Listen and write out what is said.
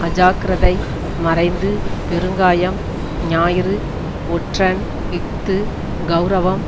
அஜாக்கிரதை மறைந்து பெருங்காயம் ஞாயிறு ஒற்றன் இஃது கெளரவம்